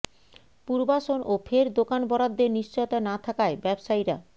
পুনর্বাসন ও ফের দোকান বরাদ্দের নিশ্চয়তা না থাকায় ব্যবসায়ীরা